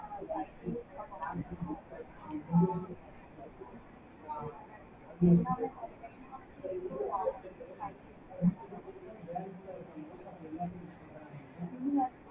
five G யு இருக்க போது. இப்போ நமக்கு two D three D ல இருந்து எல்லாமே ஒரு technology improve ஆகும். so five G use பண்ணனும். ஆஹ் ini